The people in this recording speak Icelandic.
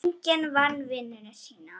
Enginn vann vinnuna sína.